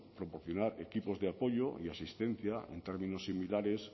proporcionar equipos de apoyo y asistencia en términos similares